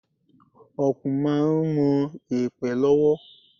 Okùn máa ń ron yèpẹ̀ lọ́wọ́.